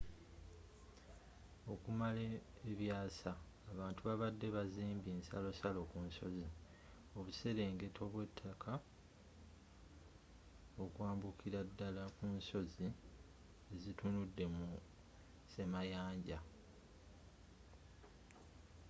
okumala ebyasa abantu babade bazimbye ensalosalo kunsozi obuserengeto byetaka okwambukira dala kunsozi ezitunudde musemayanja